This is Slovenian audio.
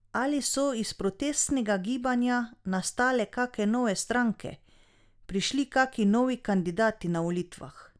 Ali so iz protestnega gibanja nastale kake nove stranke, prišli kaki novi kandidati na volitvah?